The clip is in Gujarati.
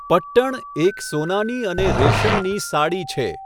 પટ્ટણ એક સોનાની અને રેશમની સાડી છે.